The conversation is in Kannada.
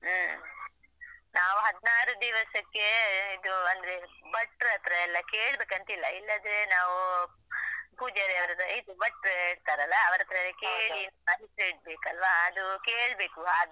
ಹ್ಮ್ ನಾವು ಹದ್ನಾರು ದಿವಸಕ್ಕೆ ಇದು ಅಂದ್ರೆ ಭಟ್ರತ್ರ ಎಲ್ಲ ಕೇಳ್ಬೇಕಂತ ಇಲ್ಲ ಇಲ್ಲದ್ರೆ ನಾವು ಪೂಜಾರಿ ಅವರತ್ರ ಹೇಗೆ ಭಟ್ರ್ ಇರ್ತಾರಲ್ಲ ಅವರತ್ರವೇ ಕೇಳಿ ಆ ದಿವಸವೆ ಇಡ್ಬೇಕಲ್ಲಾ ಅದು ಕೇಳ್ಬೇಕು.